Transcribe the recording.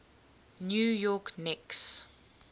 new york knicks